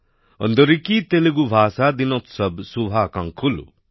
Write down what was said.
অন্দরিকী তেলেগু ভাষা দিনোতসব শুভকাঁক্ষলু